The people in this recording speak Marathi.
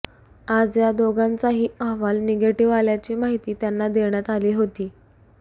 आज या दोघांचाही अहवाल निगेटिव्ह आल्याची माहिती त्यांना देण्यात आली होती